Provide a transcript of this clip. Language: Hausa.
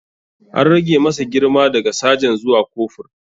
An rage masa girma daga sajan zuwa kofur.